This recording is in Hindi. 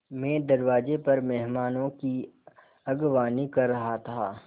मैं दरवाज़े पर मेहमानों की अगवानी कर रहा था